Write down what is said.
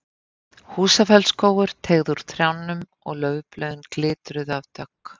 Húsafellsskógur teygði úr trjánum og laufblöðin glitruðu af dögg.